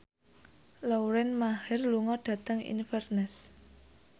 Lauren Maher lunga dhateng Inverness